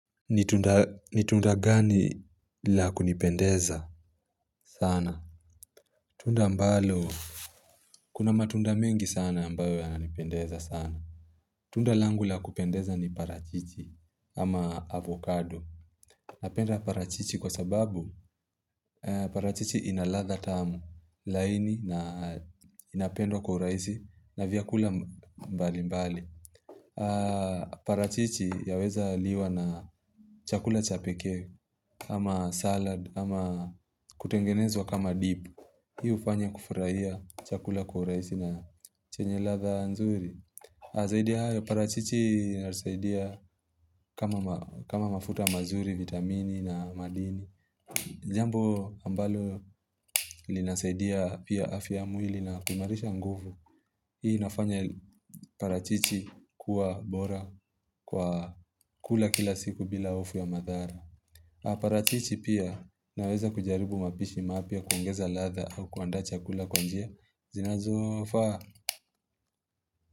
Ni tunda gani la kunipendeza sana? Tunda ambalo kuna matunda mengi sana ambayo yananipendeza sana Tunda langu la kupendeza ni parachichi ama avocado Napenda parachichi kwa sababu parachichi ina ladha tamu laini na inapendwa kwa urahisi na vyakula mbali mbali parachichi yaweza liwa na chakula cha pekee kama salad, kama kutengenezwa kama dip Hii hufanya kufurahia chakula kwa urahisi na chenye ladha nzuri parachichi inasaidia kama kama mafuta mazuri, vitamini na madini Jambo ambalo linasaidia pia afya ya mwili na kuhimarisha nguvu Hii inafanya parachichi kuwa bora kwa kula kila siku bila hofu ya madhara na parachichi pia inaweza kujaribu mapishi mapya kuongeza ladha au kuandaa chakula kwa njia zinazofaa.